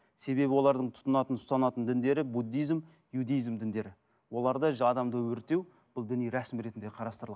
себебі олардың тұтынатын ұстанатын діндері буддизм иудизм діндері оларда адамды өртеу бұл діни рәсім ретінде